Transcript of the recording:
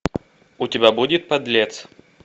у тебя будет подлец